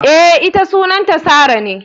Eh, ita Sunanta Sarah.